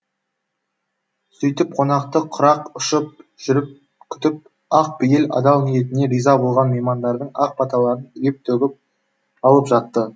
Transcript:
сөйтіп қонақты құрақ ұшып жүріп күтіп ақ пейіл адал ниетіне риза болған меймандардың ақ баталарын үйіп төгіп алып жатты